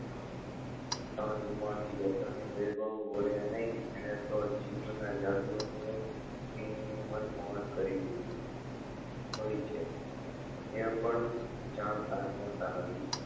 તન મન પ્રસન વેદો વડે નહી એને તો નું મન મોહન કરી લીધું હોય છે એ પણ જાણતા હોતા નથી